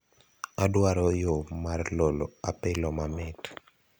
adwaro yo mar lolo apilo mamit